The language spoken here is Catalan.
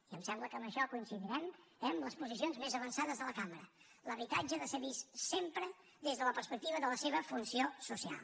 i em sembla que amb això coincidirem eh amb les posicions més avançades de la cambra l’habitatge ha de ser vist sempre des de la perspectiva de la seva funció social